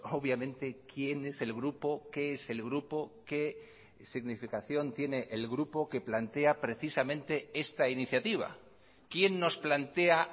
obviamente quién es el grupo qué es el grupo qué significación tiene el grupo que plantea precisamente esta iniciativa quién nos plantea